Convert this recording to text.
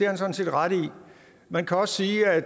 han sådan set ret i man kan også sige at